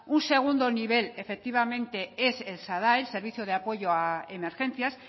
un segundo nivel efectivamente es el sadae el servicio de apoyo a emergencias